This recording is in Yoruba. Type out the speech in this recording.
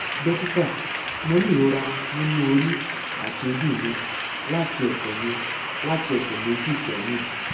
dókítà mo ní ìrora nínú orí àti ojú mi láti ọsẹ mi láti ọsẹ méjì sẹyìn